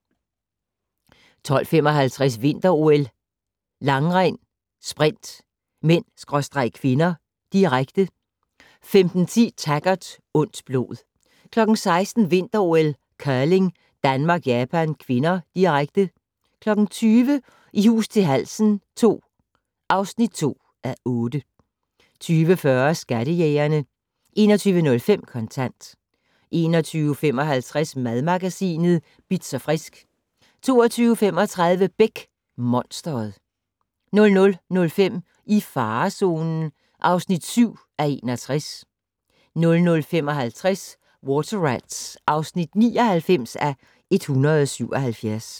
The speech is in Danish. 12:55: Vinter-OL: Langrend - sprint (m/k), direkte 15:10: Taggart: Ondt blod 16:00: Vinter-OL: Curling - Danmark-Japan (k), direkte 20:00: I hus til halsen II (2:8) 20:40: Skattejægerne 21:05: Kontant 21:55: Madmagasinet Bitz & Frisk 22:35: Beck: Monstret 00:05: I farezonen (7:61) 00:55: Water Rats (99:177)